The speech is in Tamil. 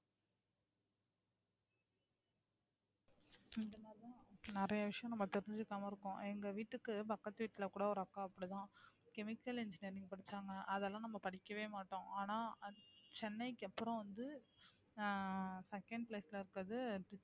நிறைய விஷயம் நம்ம தெரிஞ்சுக்காம இருக்கோம் எங்க வீட்டுக்கு பக்கத்து வீட்ல கூட ஒரு அக்கா அப்படித்தான் chemical engineering படிச்சாங்க அதெல்லாம் நம்ம படிக்கவே மாட்டோம் ஆனா சென்னைக்கு அப்புறம் வந்து ஆஹ் second place ல இருக்கறது